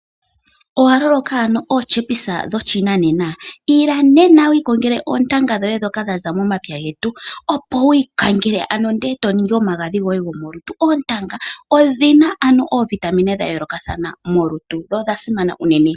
Owa loloka ootyepisa dhoshinanena? Ila nena wi ikongele oontanga dhoye ndhoka dha za momapya, opo wi ikangele e to ningi omagadhi goye gomolutu. Oontanga odhi na oovitamine dha yoolokathana molutu dho odha simana unene.